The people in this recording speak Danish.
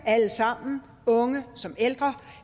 alle sammen unge som ældre